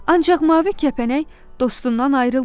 Ancaq mavi kəpənək dostundan ayrılmadı.